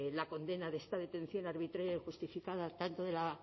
la condena de esta detención arbitraria y justificada tanto de la